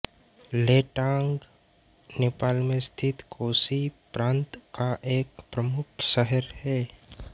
लेटांग नेपालमें स्थित कोशी प्रान्त का एक प्रमुख शहर है